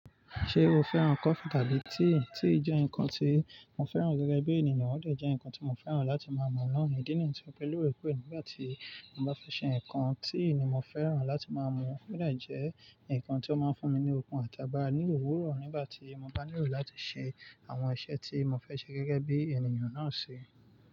Ṣé o fẹ́ràn coffee tàbí tea? Tea jẹ́ nǹkan tí mo fẹ́ràn gẹ́gẹ́ bí ènìyàn, wọ́n lè jẹ́ nǹkan tí mo fẹ́ràn láti máa mú lọ́run, ìdí nìyí tí ó pẹ́ lórí pé nígbà tí mo bá fẹ́ ṣe nǹkan, tea ni mo fẹ́ràn láti máa mú. Ode jẹ́ nǹkan tí ó máa ń fún mi ní okun àtàgbà nílùú òwúrọ̀ nígbà tí mo bá nílò láti ṣe àwọn iṣẹ́ tí mo fẹ́ ṣe gẹ́gẹ́ bí ènìyàn náà ṣe.